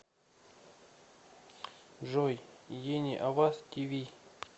джой ени аваз ти ви